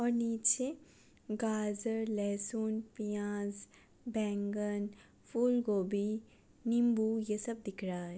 ओर नीचे गाजर लहसुन प्याज बैंगन फूलगोभी नींबू ये सब दिख रहा है ।